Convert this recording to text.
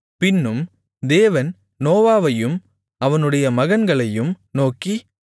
பின்னும் தேவன் நோவாவையும் அவனுடைய மகன்களையும் நோக்கி